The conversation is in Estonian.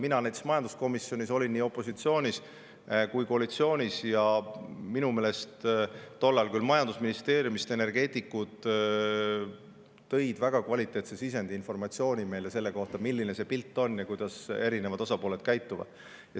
Mina olin näiteks majanduskomisjonis nii opositsiooni kui koalitsiooni ja minu meelest tol ajal küll majandusministeeriumi energeetikud väga kvaliteetse sisendi, tõid meile informatsiooni selle kohta, milline see pilt on ja kuidas erinevad osapooled käituvad.